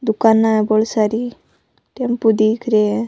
दुकान है बोली सारी टेम्पो दिख रिया है।